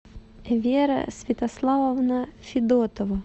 вера святославовна федотова